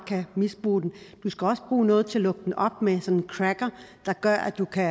misbruge den du skal også bruge noget til at lukke den op med sådan en cracker der gør at du kan